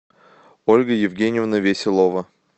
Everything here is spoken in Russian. ольга евгеньевна веселова